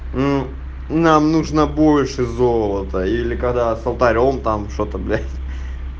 нуу нам нужно больше золота или когда с алтарём там что-то блять